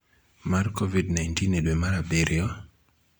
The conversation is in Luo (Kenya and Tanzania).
mar COVID-19 e dwe mar abiriyo,